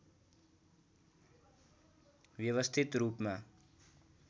व्यवस्थित रूपमा